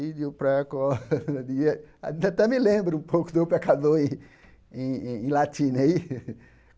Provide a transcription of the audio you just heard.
até me lembro um pouco em em latim né ih.